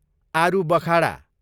आरूबखाडा